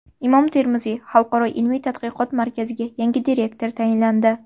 Imom Termiziy xalqaro ilmiy-tadqiqot markaziga yangi direktor tayinlandi.